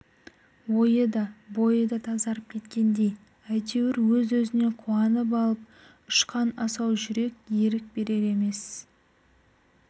ойы да бойы да тазарып кеткендей әйтеуір өз-өзінен қуанып алып ұшқан асау жүрек ерік берер емес